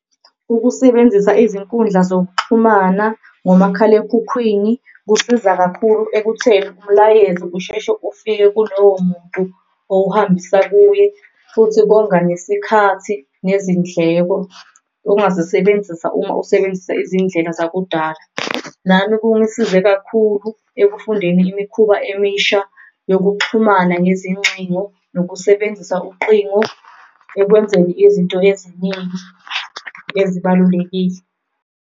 Ukusebenzisa izinkundla zokuxhumana ngomakhalekhukhwini kusiza kakhulu ekutheni umlayezo kusheshe ufike kulowo muntu owuhambisa kuye, futhi konga nesikhathi nezindleko ongazisebenzisa uma usebenzisa izindlela zakudala. Nami ekungisize kakhulu ekufundeni imikhuba emisha yokuxhumana ngezincingo, nokusebenzisa uqingo ekwenzeni izinto eziningi ezibalulekile.